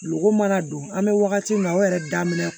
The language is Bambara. Lɔgɔ mana don an bɛ wagati min o yɛrɛ daminɛ